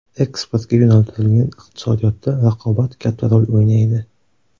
Eksportga yo‘naltirilgan iqtisodiyotda raqobat katta rol o‘ynaydi.